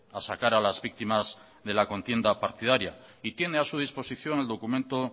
a sacar a las víctimas de la contienda partidaria y tiene a su disposición el documento